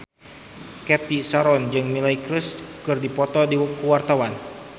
Cathy Sharon jeung Miley Cyrus keur dipoto ku wartawan